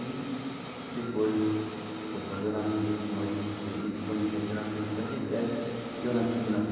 E depois foi quando eu nasci em oito do seis... eles se conheceram em mil novecentos e cinquenta e sete e eu nasci em mil